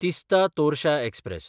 Teesta Torsa express